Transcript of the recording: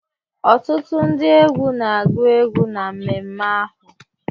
Ọtụtụ ndị egwu ga-agú egwu na mmemme ahụ